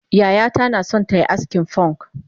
Yayata naso tayi askin fonk